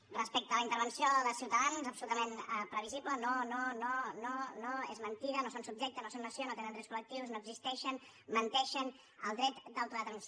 respecte a la intervenció de ciutadans absolutament previsible no no no no no és mentida no són subjecte no són nació no tenen drets col·lectius no existeixen menteixen el dret d’autodeterminació